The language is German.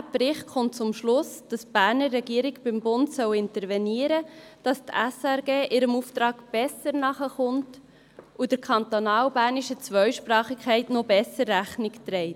Auch dieser Bericht kommt zum Schluss, dass die Berner Regierung beim Bund intervenieren soll, damit die SRG ihrem Auftrag besser nachkommt und der kantonalbernischen Zweisprachigkeit noch besser Rechnung trägt.